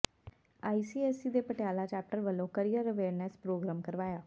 ICSC ਦੇ Patiala chapter ਵੱਲੋਂ career awareness programme ਕਰਵਾਇਆ